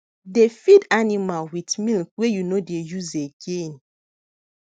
dey feed animal with milk wey you no dey use again